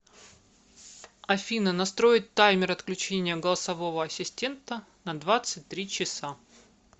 афина настроить таймер отключения голосового ассистента на двадцать три часа